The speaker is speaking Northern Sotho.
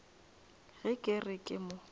ge ke re ke mo